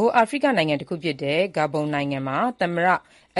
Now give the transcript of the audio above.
ိုအာဖရိက နိုင်ငံတခုဖြစ်တဲ့ Gabon မှာ သမ္မတ